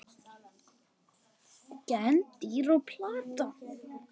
Gen dýra og plantna